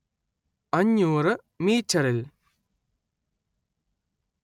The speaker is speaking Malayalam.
അഞ്ഞുറ്‌ മീറ്ററിൽ